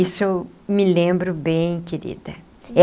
Isso eu me lembro bem, querida.